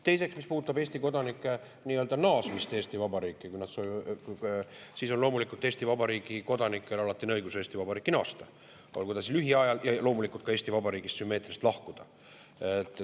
Teiseks, mis puudutab Eesti kodanike naasmist Eesti Vabariiki, siis loomulikult on Eesti Vabariigi kodanikel alati õigus Eesti Vabariiki naasta ja loomulikult sümmeetriliselt ka Eesti Vabariigist lahkuda.